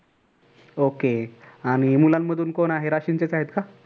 okay आणि मुलांमधून कोण आहे? राशींचेच आहेत का?